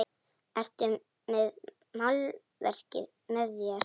Ertu með málverk með þér?